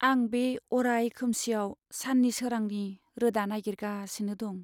आं बे अराय खोमसिआव साननि सोरांनि रोदा नागिरगासिनो दं।